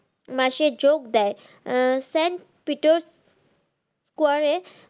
মাসে যোগ দেয় আহ St. Peater